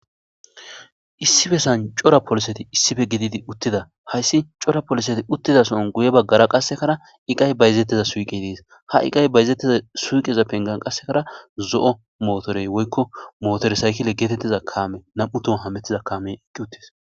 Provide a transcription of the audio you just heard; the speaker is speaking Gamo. Issife san cora poliseti issife gididi uttida hayssi cora poliseti uttida son guye baggara qassekara iqay bayzetteza suiqe dees ha iqay bayzetteza suuqeza pengan qassekara zo'o mootorey woykko motore saykile geetetteza kaame nam'u to hamettiza kaamey ekki uttis